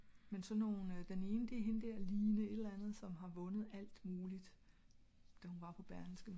men sådan nogle den ene er hende der line et eller andet som har vundet alt muligt da hun var på berlingske